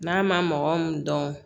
N'a ma mɔgɔ min dɔn